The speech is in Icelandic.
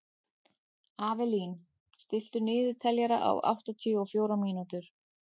Avelín, stilltu niðurteljara á áttatíu og fjórar mínútur.